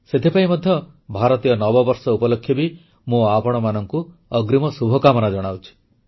ସେଥିପାଇଁ ମଧ୍ୟ ଭାରତୀୟ ନବବର୍ଷ ଉପଲକ୍ଷେ ବି ମୁଁ ଆପଣମାନଙ୍କୁ ଅଗ୍ରୀମ ଶୁଭକାମନା ଜଣାଉଛି